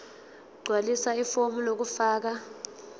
gqwalisa ifomu lokufaka